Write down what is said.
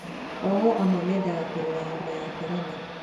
Ohwo amwe mendaga kũrĩra homa ya korona